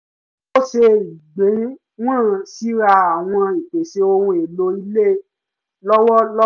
ó ṣe ìgbéwọ̀n síra àwọn ìpèsè ohun èlò ilé lọ́wọ́lọ́wọ́